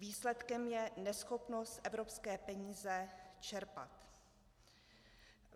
Výsledkem je neschopnost evropské peníze čerpat.